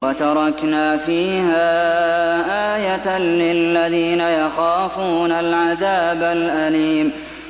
وَتَرَكْنَا فِيهَا آيَةً لِّلَّذِينَ يَخَافُونَ الْعَذَابَ الْأَلِيمَ